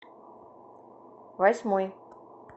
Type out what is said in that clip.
восьмой